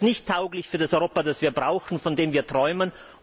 Das ist nicht tauglich für das Europa, das wir brauchen, von dem wir träumen.